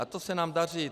A to se nám daří.